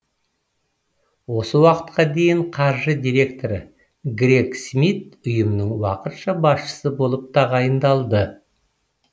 осы уақытқа дейін қаржы директоры грег смит ұйымның уақытша басшысы болып тағайындалды